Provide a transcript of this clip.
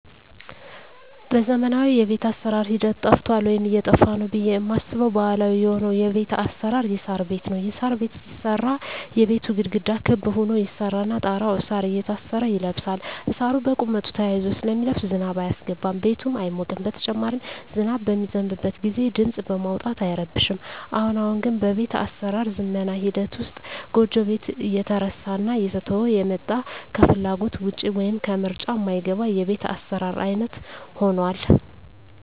በዘመናዊ የቤት አሰራር ሂደት ጠፍቷል ወይም እየጠፋ ነው ብየ ማስበው ባህላዊ የሆነው የቤት አሰራር የሳር ቤት ነው። የሳር ቤት ሲሰራ የቤቱ ግድግዳ ክብ ሁኖ ይሰራና ጣራው እሳር እየታሰረ ይለብሳል እሳሩ በቁመቱ ተያይዞ ስለሚለብስ ዝናብ አያስገባም ቤቱም አይሞቅም በተጨማሪም ዝናብ በሚዘንብበት ግዜ ድምጽ በማውጣት አይረብሽም። አሁን አሁን ግን በቤት አሰራር ዝመና ሂደት ውስጥ ጎጆ ቤት እየተረሳና እየተተወ የመጣ ከፍላጎት ውጭ ወይም ከምርጫ ማይገባ የቤት አሰራር አይነት ሁኗል።